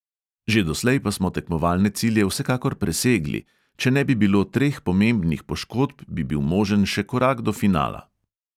Že doslej pa smo tekmovalne cilje vsekakor presegli; če ne bi bilo treh pomembnih poškodb, bi bil možen še korak do finala.